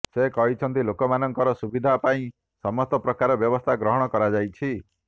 ସେ କହିଛନ୍ତି ଲୋକମାନଙ୍କର ସୁବିଧା ପାଇଁ ସମସ୍ତ ପ୍ରକାରର ବ୍ୟବସ୍ଥା ଗ୍ରହଣ କରାଯାଇଛି